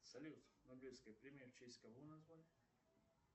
салют нобелевская премия в честь кого названа